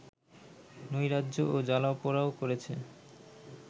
নৈরাজ্য ও জ্বালাও পোড়াও করেছে